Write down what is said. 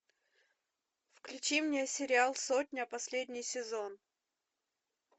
включи мне сериал сотня последний сезон